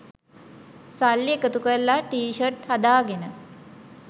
සල්ලි එකතු කරලා ටී ෂර්ට් හදාගෙන